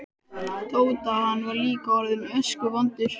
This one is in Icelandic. Tóta, hann var líka orðinn öskuvondur.